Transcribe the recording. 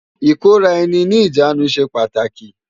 IKóráèni ni ijánú sé pàtáki